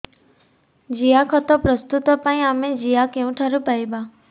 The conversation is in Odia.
ଜିଆଖତ ପ୍ରସ୍ତୁତ ପାଇଁ ଆମେ ଜିଆ କେଉଁଠାରୁ ପାଈବା